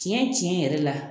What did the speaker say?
Tiɲɛ tiɲɛ yɛrɛ la